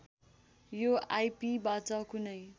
यो आइपिबाट कुनै